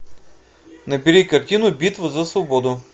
набери картину битва за свободу